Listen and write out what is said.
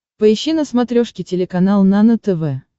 поищи на смотрешке телеканал нано тв